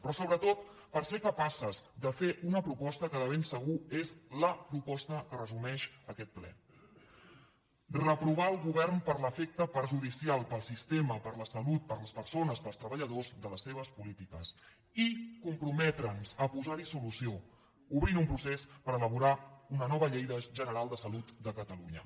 però sobretot per ser capaces de fer una proposta que de ben segur és la proposta que resumeix aquest ple reprovar el govern per l’efecte perjudicial per al sistema per a la salut per a les persones per als treballadors de les seves polítiques i comprometre’ns a posar hi solució obrint un procés per elaborar una nova llei general de salut de catalunya